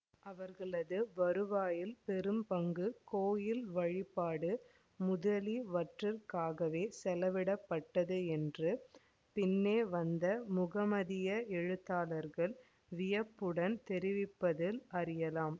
அவர்களது வருவாயில் பெரும்பங்கு கோயில் வழிபாடு முதலிவற்றிற்காகவே செலவிடப்பட்டது என்று பின்னே வந்த முகமதிய எழுத்தாளர்கள் வியப்புடன் தெரிவிப்பதில் அறியலாம்